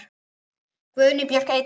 Guðný Björk Eydal.